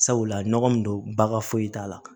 Sabula nɔgɔ min don bagan foyi t'a la